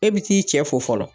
E bɛ t'i cɛ fo fɔlɔ